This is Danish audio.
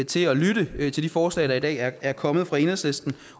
til at lytte til de forslag der i dag er kommet fra enhedslisten